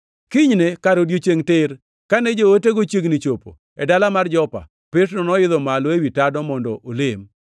Kinyne kar odiechiengʼ tir, kane jootego chiegni chopo e dala mar Jopa, Petro noidho malo ewi tado mondo olem.